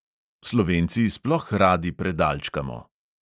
Slovenci sploh radi predalčkamo.